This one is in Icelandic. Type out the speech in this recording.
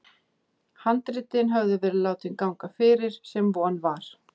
Handritin höfðu verið látin ganga fyrir, sem von var.